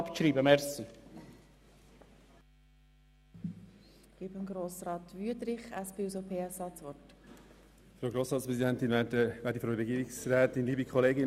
Das ist ein ganz wichtiger Vorstoss und ich bitte Sie, ihn nicht abzuschreiben.